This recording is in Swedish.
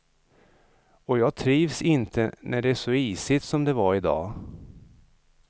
Och jag trivs inte när det är så isigt som det var idag.